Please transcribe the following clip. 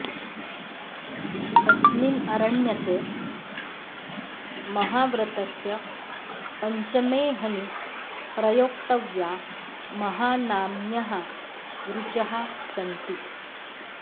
अस्मिन् अरण्यके महाव्रतस्य पञ्चमेऽहनि प्रयोक्तव्या महानाम्न्यः ऋचः सन्ति